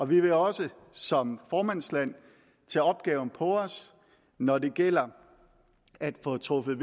vi vil også som formandsland tage opgaven på os når det gælder om at få truffet